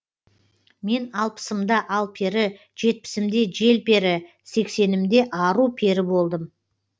мен алпысымда алпері жетпісімде желпері сексенімде ару пері болдым